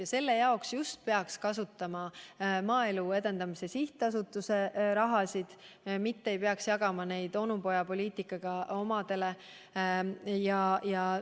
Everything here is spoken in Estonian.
Aga selle jaoks peaks kasutama Maaelu Edendamise Sihtasutuse vahendeid, mitte raha onupojapoliitikat ajades omadele jagama.